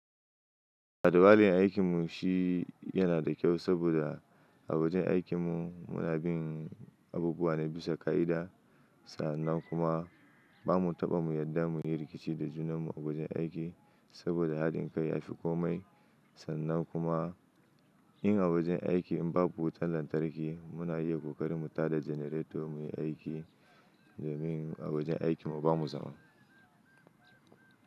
Adawali aikin mu shi yana da kyau saboda a wajen aikin mu muna bin abubuwa na bisa ka'ida sa'annan kuma ba mu taɓa mu yadda mu yi rikici da junan mu a wajen aiki saboda haɗin kai ya fi komai. Sannan kuma in a wajen aiki in babu wutan lantarki muna iya kokarin mu tada jenaretor mu yi aiki domin a wajen aikin mu bamu zama.